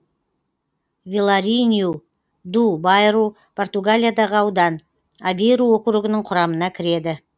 виларинью ду байру португалиядағы аудан авейру округінің құрамына кіреді